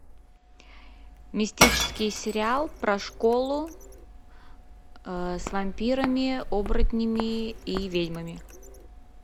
мистический сериал про школу с вампирами оборотнями и ведьмами